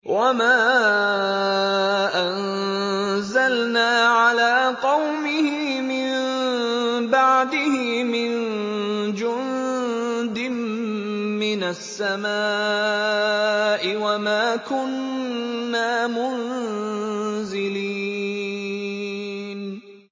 ۞ وَمَا أَنزَلْنَا عَلَىٰ قَوْمِهِ مِن بَعْدِهِ مِن جُندٍ مِّنَ السَّمَاءِ وَمَا كُنَّا مُنزِلِينَ